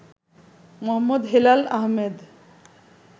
Md. Helal Ahmed